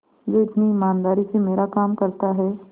जो इतनी ईमानदारी से मेरा काम करता है